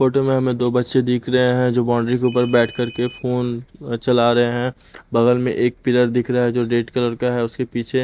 photo में हमें दो बच्चे दिख रहे हैं जो बाउंड्री के ऊपर बैठ कर के फोन चला रहे हैं बगल में एक पिलर दिख रहा है जो रेड कलर का है उसके पीछे--